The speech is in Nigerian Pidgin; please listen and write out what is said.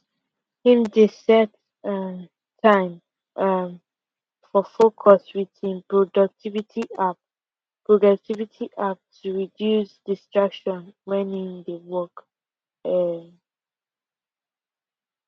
him dey set um time um for focus with him productivity app productivity app to reduce distraction wen him dey work um